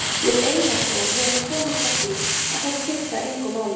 Við Einar Þór höfum komist að því að þær skipta engu máli.